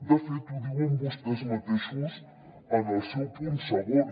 de fet ho diuen vostès mateixos en el seu punt segon